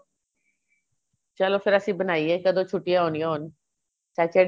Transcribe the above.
ਚਲੋ ਫੇਰ ਅਸੀਂ ਬਣਾਈਏ ਕਦੋ ਛੁਟੀਆਂ ਹੋਣੀਆਂ ਹੁਣ Saturday